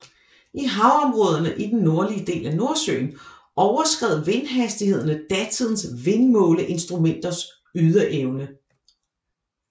I havområderne i den nordlige del af Nordsøen overskred vindhastighederne datidens vindmåleinstrumenters ydeevne